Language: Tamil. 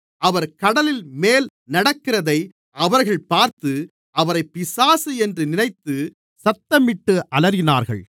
அவர் கடலின்மேல் நடக்கிறதை அவர்கள் பார்த்து அவரை பிசாசு என்று நினைத்து சத்தமிட்டு அலறினார்கள்